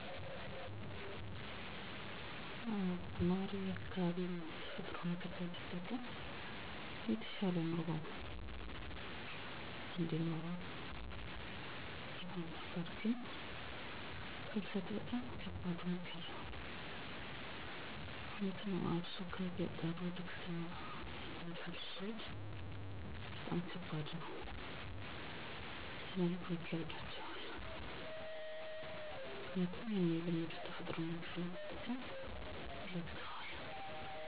የአብዛኛው ፍልሰት ምክንያት ስራ አጥነት እና ዝቅተኛ የኑሮ ሁኔታ ናቸው። ከገጠር ወደ ከተማ ለሚደረግ ፍልስትም ምክኒያቱ ይህ ነው ብዬ አምናለው። በመሆኑም ነዋሪው በአካባቢው ያሉ የተፈጥሮ ሀብቶችን በመጠቀም ውጤታማ የሚሆንበት መንገድ መፍጠር ማለትም የተሻለ ግብርና ምርት ለማምረት የሚያስችል ስልጠና፣ የከብት እርባታ ስልጠና እና ድጋፍ. ፣ የእደጥበብ ውጤቶችን ለመሰራት ስልጠና የገበያ ትስስር መፍጠር። በተጨማሪም እ ድሜያቸው ለትምህርት የደረሱ ልጆች የሚማሩባቸውን ትምህርት ቤቶች በየአቅራቢያቸው በመስራት ፍልሰትን መቀነስ ይቻላል።